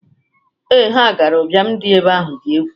Ee, ha gara. Ụbiam dị ebe ahụ dị egwu.